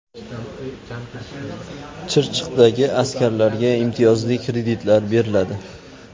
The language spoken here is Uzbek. Chirchiqdagi askarlarga imtiyozli kreditlar beriladi.